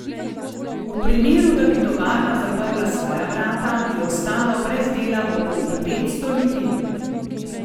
V primeru, da bi tovarna zaprla svoja vrata, bi ostalo brez dela okoli petsto ljudi.